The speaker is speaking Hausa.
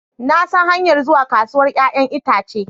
Na san hanyar zuwa kasuwar 'ya'yan itace